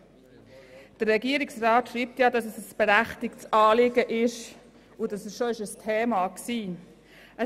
Der Regierungsrat schreibt, das Anliegen sei berechtigt und es sei bereits ein Thema gewesen.